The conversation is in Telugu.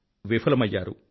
విఫలమయ్యారు